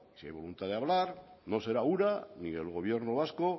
si hay voluntad de hablar no será ura ni el gobierno vasco